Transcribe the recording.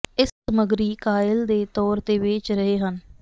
ਇਹ ਸਮੱਗਰੀ ਕਾਇਲ ਦੇ ਤੌਰ ਤੇ ਵੇਚ ਰਹੇ ਹਨ